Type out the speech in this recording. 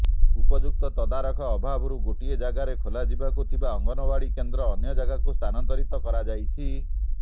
ଉପଯୁକ୍ତ ତଦାରଖ ଅଭାବରୁ ଗୋଟାଏ ଜାଗାରେ ଖୋଲାଯିବାକୁ ଥିବା ଅଙ୍ଗନଓ୍ୱାଡି କେନ୍ଦ୍ର ଅନ୍ୟଜାଗାକୁ ସ୍ଥାନାନ୍ତରିତ କରାଯାଇଛି